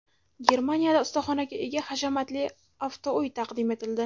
Germaniyada ustaxonaga ega hashamatli avtouy taqdim etildi .